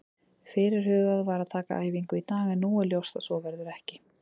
Fyrirhugað var að taka æfingu í dag en nú er ljóst að svo verður ekki.